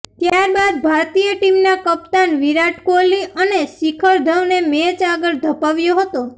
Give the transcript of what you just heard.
ત્યારબાદ ભારતીય ટીમના કપ્તાન વિરાટ કોહલી અને શિખર ધવને મેચ આગળ ધપાવ્યો હતો